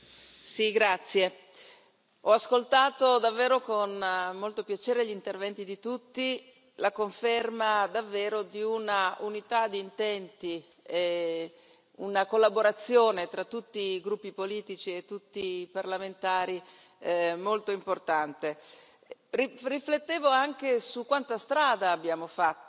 Signor Presidente, onorevoli colleghi, ho ascoltato davvero con molto piacere gli interventi di tutti, la conferma davvero di una unità di intenti e una collaborazione tra tutti i gruppi politici e tutti i parlamentari molto importante. Riflettevo anche su quanta strada abbiamo fatto